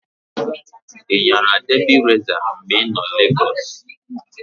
I nyara debi resa mgbe i nọ Lagọs?